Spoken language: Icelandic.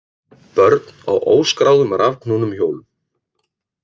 Börn á óskráðum rafknúnum hjólum